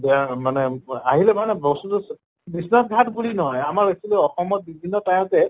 মানে আহিলে মানে বস্তুটো বিশ্বনাথ ঘাট বুলি নহয় আমাৰ actually অসমত বিভিন্ন তায়তে